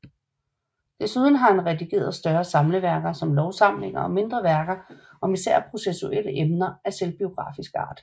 Desuden har han redigeret større samleværker som lovsamlinger og mindre værker om især processuelle emner og af selvbiografisk art